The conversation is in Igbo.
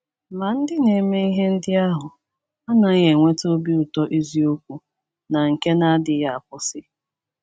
Ma, ndị na - eme ihe ndị ahụ anaghị enweta obi ụtọ eziokwu na nke na - adịghị akwụsị.